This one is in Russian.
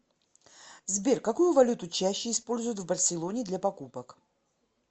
сбер какую валюту чаще используют в барселоне для покупок